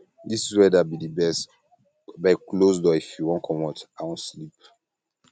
dis weather um be the best um abeg close door if you wan comot i wan sleep sleep